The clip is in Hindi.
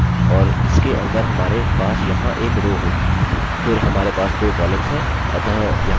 और हम एक टेबल बनाने जा रहे हैं और इसके अंदर हमारे पास यहाँ एक रो होगी